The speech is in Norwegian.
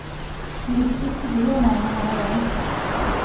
De viktigste dyrene er her geiter.